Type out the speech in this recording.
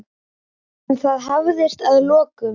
En það hafðist að lokum.